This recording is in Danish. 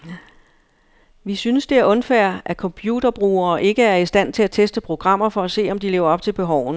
Vi synes det er unfair at computerbrugere ikke er i stand til at teste programmer for at se, om de lever op til behovene.